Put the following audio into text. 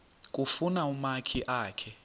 kufuna umakhi akhe